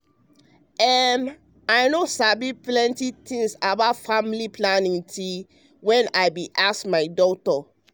ehm i no sabi plenty thing about family planning till wen i bin ask my doc.